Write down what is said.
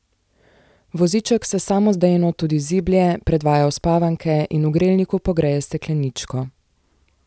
Voziček se samodejno tudi ziblje, predvaja uspavanke in v grelniku pogreje stekleničko.